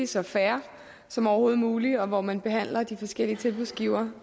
så fair som overhovedet muligt og hvor man behandler de forskellige tilbudsgivere